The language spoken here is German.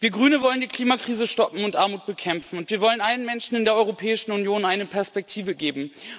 Wir Grüne wollen die Klimakrise stoppen und Armut bekämpfen, und wir wollen allen Menschen in der Europäischen Union eine Perspektive geben.